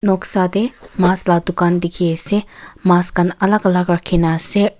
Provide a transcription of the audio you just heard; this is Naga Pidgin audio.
noksa te mas la dukan dikhi ase mas khan alak alak rakhina ase--